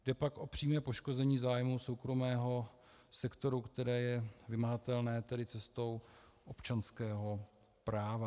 Jde pak o přímé poškození zájmu soukromého sektoru, které je vymahatelné, tedy cestou občanského práva.